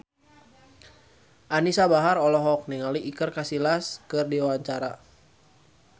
Anisa Bahar olohok ningali Iker Casillas keur diwawancara